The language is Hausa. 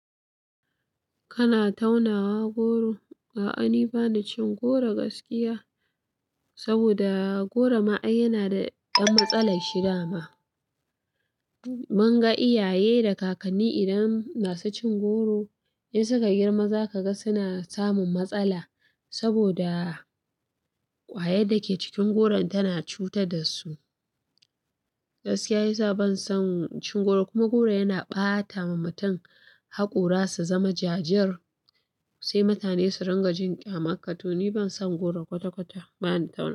Kana taunawa goro? A'a, ni bani cin goro gaskiya. Saboda goro ma'ai yana da ɗan matsalar shidama. Mun ga iyaye da kakanni idan ma su cin goro, in suka girma za ka ga suna samun matsala. Saboda ƙwayar da ke cikin goron tana cuta da su. Gaskiya ya sa ban son cin goro kuma goro yana ɓata wa mutum haƙora, su zama jajir. Sai mutane su rinka jin ƙyamanka to ni ban son goro kwata-kwata, ba ni taunawa.